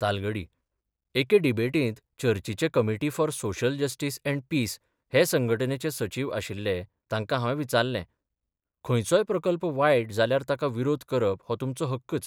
तालगडी एके डिबेटींत चर्चीचे committee for social justice and peace हे संघटनेचे सचीव आशिल्ले तांकां हावें विचारलें खंयचोय प्रकल्प वायट जाल्यार ताका विरोध करप हो तुमचो हक्कच.